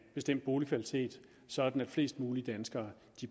bestemt boligkvalitet sådan at flest mulige danskere